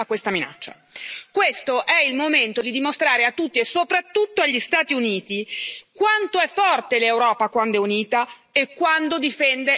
Questo è il momento di dimostrare a tutti, e soprattutto agli Stati Uniti, quanto è forte l'Europa quando è unita e quando difende le sue eccellenze.